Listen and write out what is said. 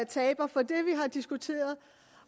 taber for det vi har diskuteret